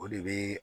O de bɛ